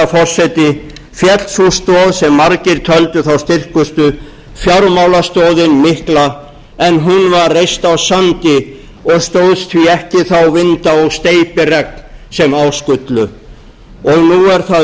forseti féll sú stoð sem margir töldu þá styrkustu fjármálastoðin mikla en hún var reist á sandi og stóðst því ekki þá vinda og steypiregn sem á skullu nú er það